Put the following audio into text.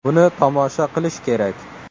Buni tomosha qilish kerak!.